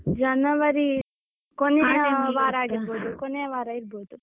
ಜನವರಿ ಕೊನೆಯ ವಾರ ಆಗಿರ್ಬೋದು, ಕೊನೆಯವಾರ ಇರ್ಬೋದು.